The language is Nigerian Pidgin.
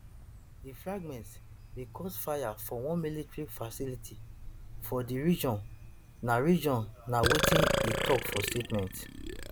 di fragments bin cause fire for one military facility for di region na region na wetin e tok for statement